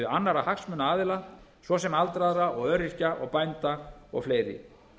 annarra hagsmunaaðila svo sem aldraðra öryrkja og bænda og fleiri